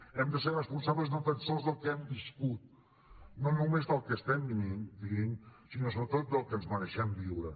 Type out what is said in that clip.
hem de ser responsables no tan sols del que hem viscut no només del que estem vivint sinó sobretot del que ens mereixem viure